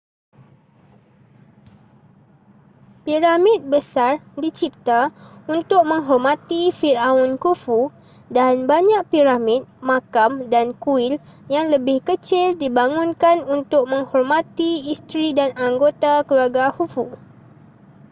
piramid besar dicipta untuk menghormati firaun khufu dan banyak piramid makam dan kuil yang lebih kecil dibangunkan untuk menghormati isteri dan anggota keluarga khufu